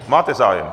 Máte zájem?